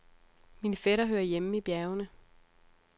Min fætter hører hjemme i bjergene.